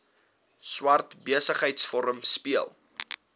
swart besigheidsforum speel